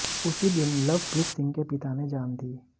उसी दिन लवप्रीत सिंह के पिता ने जान दी